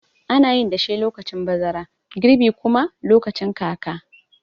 Anayin dashe lokacin bazara, girbi kuma lokacin kaka.